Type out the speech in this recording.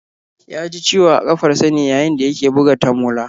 Ya ji ciwo a kafarsa ne yayin da ya ke buga tamola